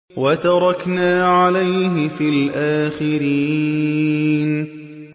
وَتَرَكْنَا عَلَيْهِ فِي الْآخِرِينَ